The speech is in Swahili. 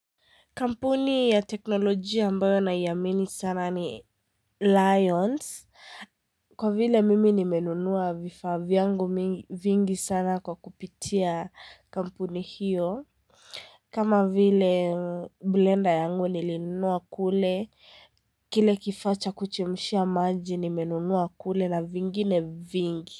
Kampuni ya teknolojia ambayo na iamini sana ni Lions. Kwa vile mimi nimenunua vifaa yangu vingi sana kwa kupitia kampuni hiyo. Kama vile blender yangu nilinunua kule, kile kifaa cha kuchemshia maji nimenunua kule na vingine vingi.